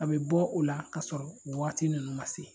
A bɛ bɔ o la k'a sɔrɔ nin wagati ninnu ma se.